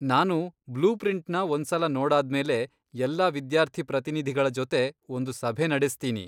ನಾನು ಬ್ಲೂಪ್ರಿಂಟ್ನ ಒಂದ್ಸಲ ನೋಡಾದ್ಮೇಲೆ ಎಲ್ಲ ವಿದ್ಯಾರ್ಥಿ ಪ್ರತಿನಿಧಿಗಳ ಜೊತೆ ಒಂದು ಸಭೆ ನಡೆಸ್ತೀನಿ.